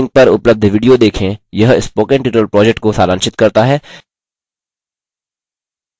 निम्न link पर उपलब्ध video देखें यह spoken tutorial project को सारांशित करता है